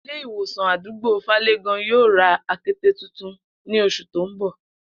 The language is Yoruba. Ilé ìwòsàn àdúgbò Fále̩gàn yóò ra akete tuntun ní os̩ù tó ń bò̩